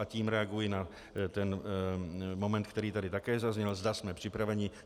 A tím reaguji na ten moment, který tady také zazněl, zda jsme připraveni.